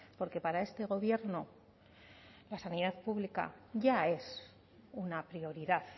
porque para este gobierno la sanidad pública ya es una prioridad